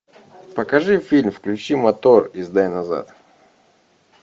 покажи фильм включи мотор и сдай назад